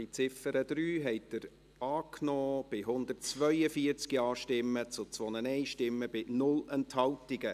Sie haben auch die Ziffer 3 angenommen, mit 142 Ja- zu 2 Nein-Stimmen bei 0 Enthaltungen.